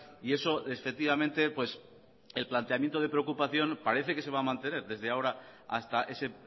y eso efectivamente el planteamiento de preocupación parece que se va a mantener desde ahora hasta ese